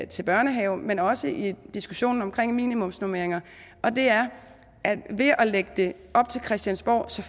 til børnehave men også i diskussionen omkring minimumsnormeringer og det er at man ved at lægge det op til christiansborg